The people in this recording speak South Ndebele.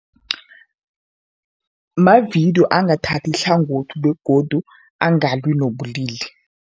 Mavidiyo angathathi ihlangothi begodu angalwi nobulili.